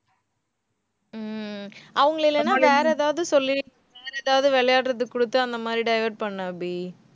உம் அவங்களை இல்லைன்னா வேற ஏதாவது சொல்லி வேற ஏதாவது விளையாடுறது கொடுத்து அந்த மாதிரி divert பண்ணு அபி